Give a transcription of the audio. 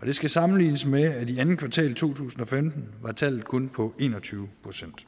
og det skal sammenlignes med at i andet kvartal to tusind og femten var tallet kun på en og tyve procent